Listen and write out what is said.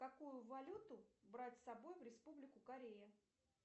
какую валюту брать с собой в республику корея